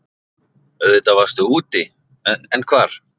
Auðvitað varstu úti, en hvar?